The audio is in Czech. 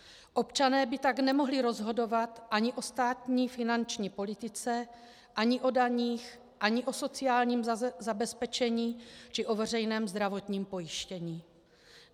Občané by tak nemohli rozhodovat ani o státní finanční politice ani o daních ani o sociálním zabezpečení či o veřejném zdravotním pojištění.